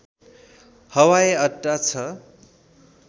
हवाई अड्डा छ